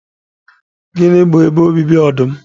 Gịnị bụ ebe obibi ọdụm?